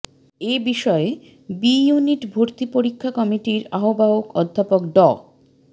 এ বিষয়ে B unit ভর্তি পরীক্ষা কমিটির আহ্বায়ক অধ্যাপক ড